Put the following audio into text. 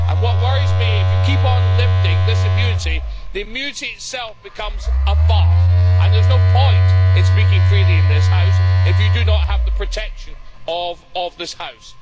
What worries me is that if you keep on lifting this immunity, the immunity itself becomes a farce, and there is no point in speaking freely in this House if you do not have the protection of this House.